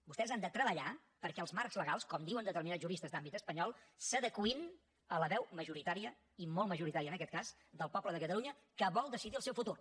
vostès han de treballar perquè els marcs legals com diuen determinats juristes d’àmbit espanyol s’adeqüin a la veu majoritària i molt majoritària en aquest cas del poble de catalunya que vol decidir el seu futur